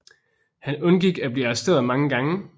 Han undgik at blive arresteret mange gange